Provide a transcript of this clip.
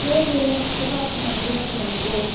ಹೇಳ್ರಿ ಚಲೋ ಆತ್ ಮತ್ ಹೇಳ್ರಿ ನಮ್ಗು.